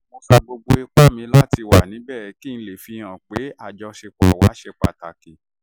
mo sa gbogbo ipá mi láti wà níbẹ̀ kí n lè fihàn pé àjọṣe wa ṣì ṣe pàtàkì